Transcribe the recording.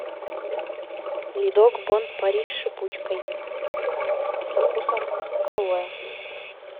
ледок бон пари с шипучкой со вкусом алоэ